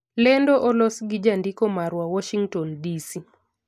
Lendo olos gi jandiko marwa, Warshington, DC